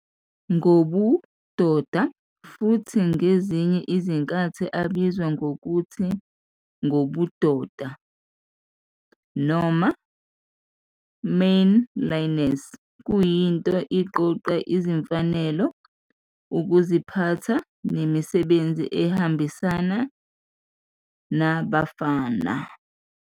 Ngobudoda, futhi ngezinye izikhathi ebizwa ngokuthi "ngobudoda" noma "manliness" kuyinto iqoqo izimfanelo, ukuziphatha, nemisebenzi ehambisana ne-abafana.